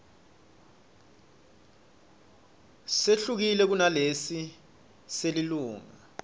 sehlukile kunalesi selilunga